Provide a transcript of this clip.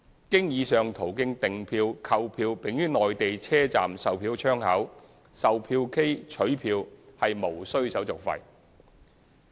經以上途徑訂票/購票並於內地車站售票窗口、售票機取票無須手續費。